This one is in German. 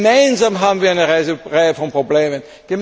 Gemeinsam haben wir eine Reihe von Problemen.